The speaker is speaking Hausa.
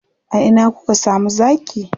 A ina kuka samu zaki?